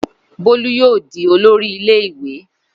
Bólú yóò di olórí ilé ìwé.